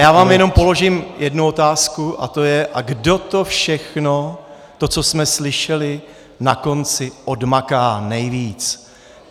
Já vám jenom položím jednu otázku a to je: a kdo to všechno, to. co jsme slyšeli, na konci odmaká nejvíc?